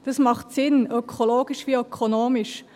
Das macht Sinn, ökologisch wie ökonomisch.